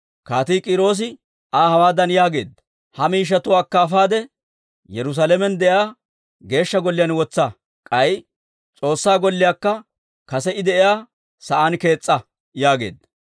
Kaatii K'iiroosi Aa hawaadan yaageedda; «Ha miishshatuwaa akka afaade Yerusaalamen de'iyaa Geeshsha Golliyaan wotsa; k'ay S'oossaa Golliyaakka kase I de'iyaa sa'aan kees's'a» yaageedda.